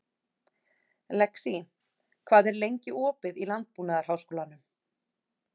Lexí, hvað er lengi opið í Landbúnaðarháskólanum?